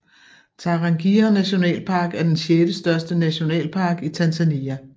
Tarangire nationalpark er den sjettestørste nationalpark i Tanzania